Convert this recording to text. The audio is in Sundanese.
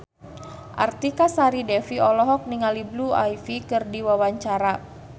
Artika Sari Devi olohok ningali Blue Ivy keur diwawancara